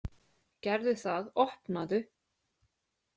Gerðu það, opnaðu!